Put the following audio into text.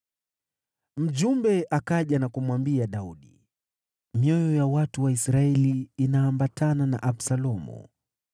Mjumbe akaja na kumwambia Daudi, “Mioyo ya watu wa Israeli inaambatana na Absalomu.”